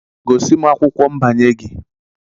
Gosi m akwụkwọ nbanye gị!